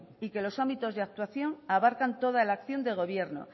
y que los ámbitos de actuación abarcan toda la acción de gobierno